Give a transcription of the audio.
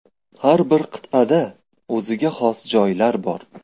Har bir qit’ada o‘ziga xos joylar bor.